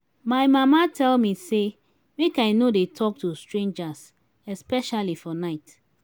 my mama tell me say make i no dey talk to strangers especially for night